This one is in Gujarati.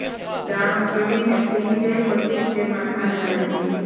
દાણો ચડીને ફૂલી જાય પછી જ તેમાં ખાંડ નાખવી